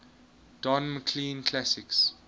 don mclean classics